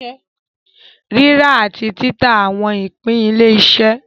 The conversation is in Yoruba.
Rírà àti títà àwọn ìpín ilé-iṣẹ́.